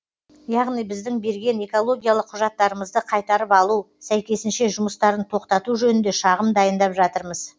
яғни біздің берген экологиялық құжаттарымызды қайтарып алу сәйкесінше жұмыстарын тоқтату жөнінде шағым дайындап жатырмыз